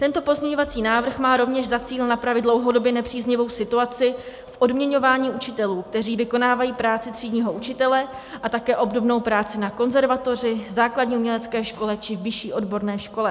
Tento pozměňovací návrh má rovněž za cíl napravit dlouhodobě nepříznivou situaci v odměňování učitelů, kteří vykonávají práci třídního učitele a také obdobnou práci na konzervatoři, základní umělecké škole či vyšší odborné škole.